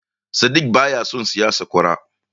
Sadik baya son siyan sakwara.